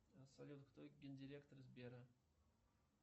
салют кто ген директор сбера